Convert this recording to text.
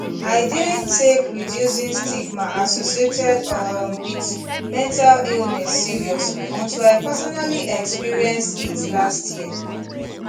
i didnt take reducing stigma associated um wit mental illness seriously until i personally experienced it last year